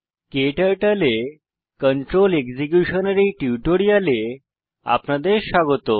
ক্টার্টল এ control execution এর এই টিউটোরিয়ালে আপনাদের স্বাগত